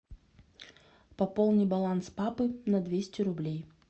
пополни баланс папы на двести рублей